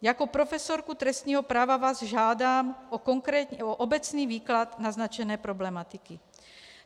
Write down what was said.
Jako profesorku trestního práva vás žádám o obecný výklad naznačené problematiky.